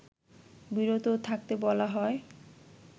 বিরতও থাকতে বলা হয়